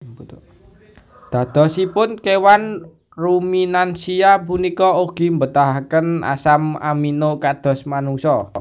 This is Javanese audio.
Dadosipun kéwan ruminansia punika ugi mbetahaken asam amino kados manungsa